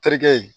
Terikɛ